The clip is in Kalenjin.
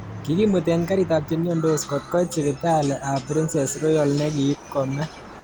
Kikimuten karit ab chemiandos kotkoit sipitalit ab Princess Royal nekiit kome.